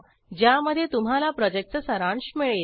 ज्यामध्ये तुम्हाला प्रॉजेक्टचा सारांश मिळेल